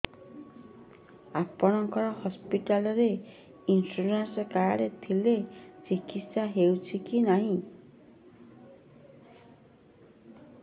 ଆପଣଙ୍କ ହସ୍ପିଟାଲ ରେ insurance card ଥିଲେ ଚିକିତ୍ସା ହେଉଛି କି ନାଇଁ